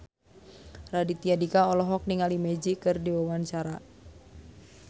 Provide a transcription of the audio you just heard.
Raditya Dika olohok ningali Magic keur diwawancara